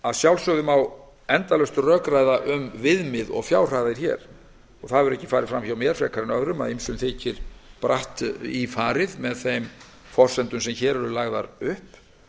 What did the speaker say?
að sjálfsögðu má endalaust rökræða hér um viðmið og fjárhæðir það hefur ekki farið fram hjá mér frekar en öðrum að ýmsum þykir bratt í farið með þeim forsendum sem hér eru lagðar upp